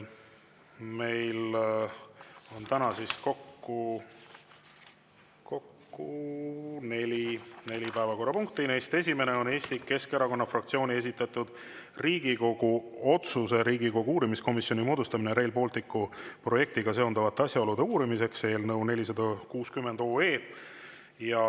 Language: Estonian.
Meil on täna kokku neli päevakorrapunkti, neist esimene on Eesti Keskerakonna fraktsiooni esitatud Riigikogu otsuse "Riigikogu uurimiskomisjoni moodustamine Rail Balticu projektiga seonduvate asjaolude uurimiseks" eelnõu 460.